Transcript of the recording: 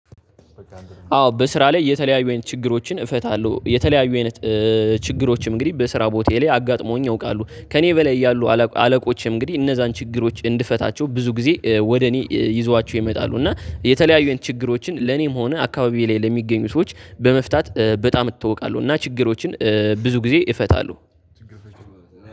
አዎ በስራ ላይ የተለያዩ ችግሮችን እፈታለሁ። የተለያዩ ችግሮችም እንግዲህ በስራ ቦታዬ ላይ አጋጥመዉኝ ያውቃሉ ከእኔ በላይ ያሉ አለቆች እንግዲህ እነዛን ችግሮች እንድፈታቸው ብዙ ጊዜ ወደ እኔ ይዟዋቸው ይመጣሉ እና የተለያዩን ችግሮችን ለኔም ሆነ አካባቢ ላይ ለሚገኙ ሰዎች በመፍታት በጣም እታወቃለሁ። እና ችግሮችን ብዙ ጊዜ እፈታለሁ።